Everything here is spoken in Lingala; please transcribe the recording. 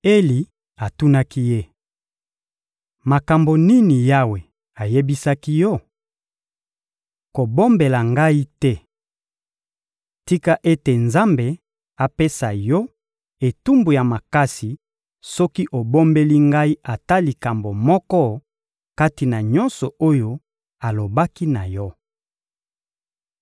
Eli atunaki ye: — Makambo nini Yawe ayebisaki yo? Kobombela ngai te. Tika ete Nzambe apesa yo etumbu ya makasi soki obombeli ngai ata likambo moko kati na nyonso oyo alobaki na yo.